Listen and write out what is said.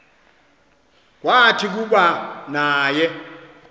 kwathi kuba naye